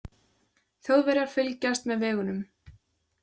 Þjóðverjar fylgjast með vegunum.